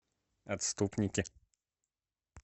отступники